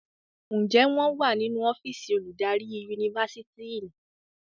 Njé wón wá nínú ọ́fíìsì oludari Yunifásitìni?